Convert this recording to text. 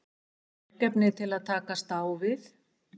Verkefni til að takast á við?